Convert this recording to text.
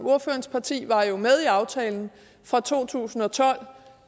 ordførerens parti var jo med i aftalen fra to tusind og tolv